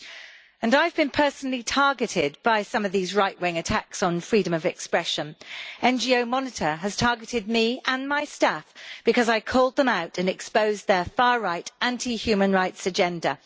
I have been personally targeted by some of these right wing attacks on freedom of expression. NGO Monitor has targeted me and my staff because I called them out and exposed their far right anti human rights agenda.